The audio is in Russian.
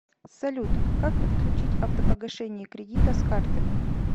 салют как подключить автопогашение кредита с карты